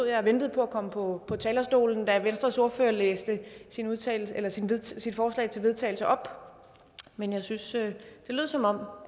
jeg og ventede på at komme på talerstolen da venstres ordfører læste sit forslag til vedtagelse op men jeg synes at det lød som om